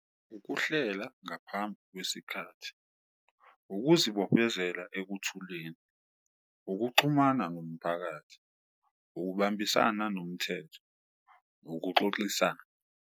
Ukuhlela ngaphambi kwesikhathi, ukuzibophezela ekuthuleni, ukuxhumana nomphakathi, ukubambisana nomthetho, ukuxoxisana.